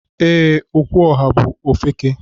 Ee, Okwuoha bú ofeke.